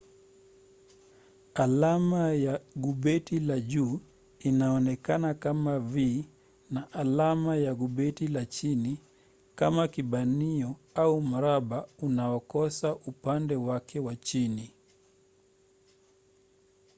alama ya gubeti la juu inaonekana kama v na alama ya gubeti la chini kama kibanio au mraba unaokosa upande wake wa chini